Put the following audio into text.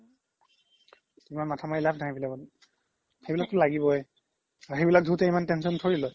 কিছুমান মাথা মাৰি লাভ নাই সেইবিলাকত সেইবিলাক তো লাগিবোই আৰু সেইবিলাক ধুতে ইমান tension থৰি লই